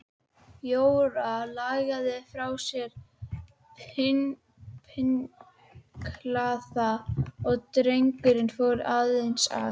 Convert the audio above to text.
Jóra lagði frá sér pinklana og drengurinn fór eins að.